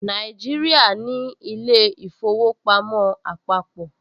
Nàìjíríà ní ilé-ìfowópamọ́ àpàpọ̀